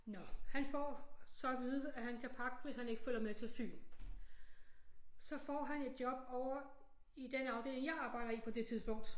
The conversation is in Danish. Nå han får så at vide at han kan pakke hvis han ikke følger med til Fyn så får han et job ovre i den afdeling jeg arbejder i på det tidspunkt